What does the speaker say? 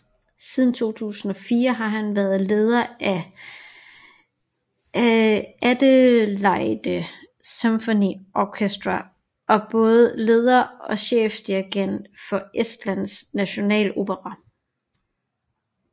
Siden 2004 har han været leder af Adelaide Symphony Orchestra og både leder og chefdirigent for Estlands Nationalopera